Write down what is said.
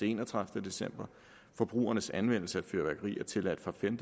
enogtredivete december forbrugernes anvendelse af fyrværkeri er tilladt fra den